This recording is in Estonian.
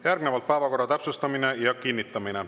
Järgnevalt päevakorra täpsustamine ja kinnitamine.